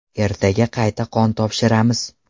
Ertaga qayta qon topshiramiz.